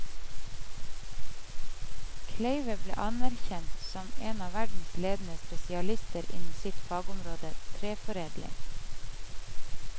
Kleive ble anerkjent som en av verdens ledende spesialister innen sitt fagområde, treforedling.